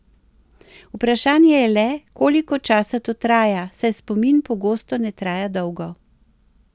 Vprašanje je le, koliko časa to traja, saj spomin pogosto ne traja dolgo.